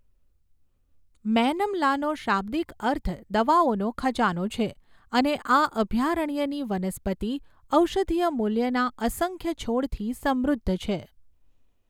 મૈનમ લાનો શાબ્દિક અર્થ દવાઓનો ખજાનો છે અને આ અભયારણ્યની વનસ્પતિ ઔષધીય મૂલ્યના અસંખ્ય છોડથી સમૃદ્ધ છે.